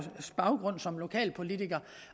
baggrund som lokalpolitiker